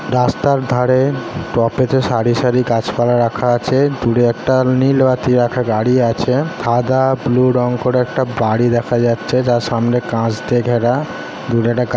রাস্তার ধারে টপেতে সারি সারি গাছপালা রাখা আছে দূরে একটা নীল বাতি রাখা গাড়ি আছে সাদা ব্লু রং করা একটা বাড়ি দেখা যাচ্ছে যার সামনে কাচ দিয়ে ঘেরা দূরে একটা --